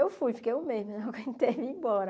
Eu fui, fiquei um mês, não aguentei e vim embora.